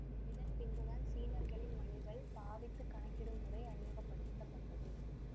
இதன் பின்புதான் சீனர்களின் மணிகள் பாவித்து கணக்கிடும் முறை அறிமுக படுத்த பட்டது